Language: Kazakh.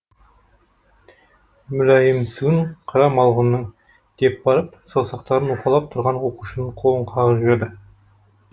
мүләйімсуін қара малғұнның деп барып саусақтарын уқалап тұрған оқушының қолын қағып жіберді